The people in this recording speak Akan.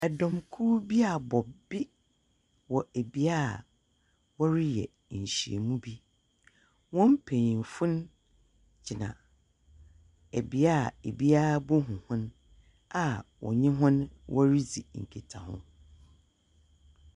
Ɛdɔm kuw bi abɔ be, wɔ ɛbea a wɔreyɛ nhyiamu bi. Wɔn mpanyinfo no gyina ɛbea a ebiara behu hɔn a wɔnye wɔn redzi nkitaho.